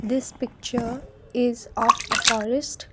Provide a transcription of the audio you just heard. this picture is of a forest.